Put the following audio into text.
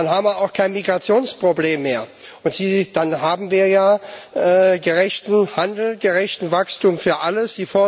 Dann haben wir auch kein Migrationsproblem mehr, und dann haben wir ja gerechten Handel, gerechtes Wachstum für alle.